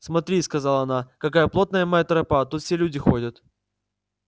смотри сказала она какая плотная моя тропа тут все люди ходят